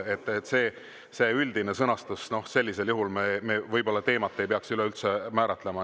See on nii üldine sõnastus, et sellisel juhul me võib-olla teemat ei peaks üleüldse määratlema.